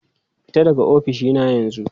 Fita daga ofishina yanzu!